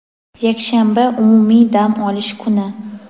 yakshanba – umumiy dam olish kuni.